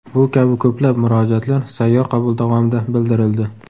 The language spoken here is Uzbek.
Bu kabi ko‘plab murojaatlar sayyor qabul davomida bildirildi.